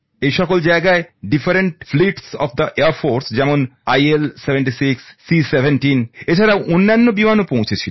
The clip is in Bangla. এই সব জায়গায় বিমান বাহিনীর বিভিন্ন বিমান যেমন IL76 C17 ছাড়াও অন্যান্য বিমান পৌঁছেছিল